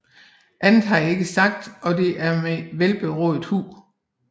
Andet har jeg ikke sagt og det er med velberåd hu